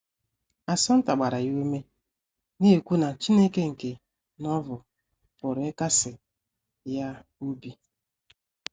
Assunta gbara ya ume, na - ekwu na Chineke nke Novel pụrụ ịkasi ya obi.